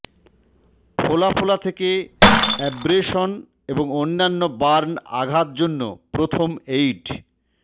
ফোলা ফোলা থেকে অ্যাব্রেশন এবং অন্যান্য বার্ন আঘাত জন্য প্রথম এইড